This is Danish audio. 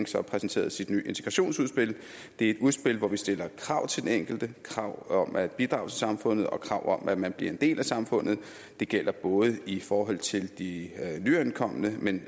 så præsenteret sit nye integrationsudspil det er et udspil hvor vi stiller krav til den enkelte krav om at bidrage til samfundet og krav om at man bliver en del af samfundet det gælder både i forhold til de nyankomne men